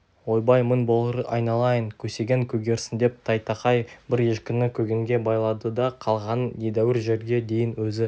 ойбай мың болғыр айналайын көсегең көгерсін деп тайтақай бір ешкіні көгенге байлады да қалғанын едәуір жерге дейін өзі